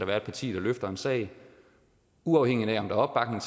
være et parti der løfter en sag uafhængigt af om der